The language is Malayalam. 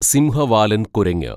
സിംഹവാലന്‍ കുരങ്ങ്